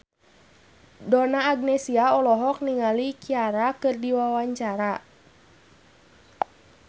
Donna Agnesia olohok ningali Ciara keur diwawancara